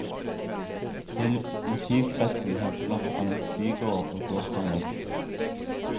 Til motivkretsen hørte blant annet bygårder og gårdsanlegg.